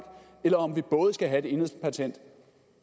eller om vi både skal have et enhedspatent